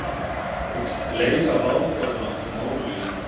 Hyggst leysa ráðgátuna um Mónu Lísu